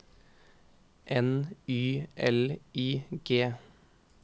N Y L I G